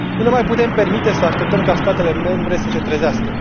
Nu ne mai putem permite să așteptăm ca statele membre să se trezească.